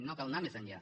no cal anar més enllà